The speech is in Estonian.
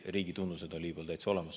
Riigi tunnused on Liibüal täitsa olemas.